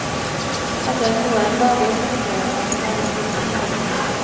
Etter noen dager spurte han hva grunnen var.